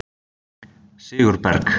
Sigurberg